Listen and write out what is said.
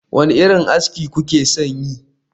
Wane irin aski kuke son yi?